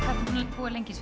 búa lengi